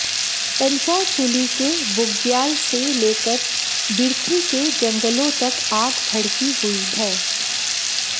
पंचाचूली के बुग्याल से लेकर बिर्थी के जंगलों तक आग भड़की हुई है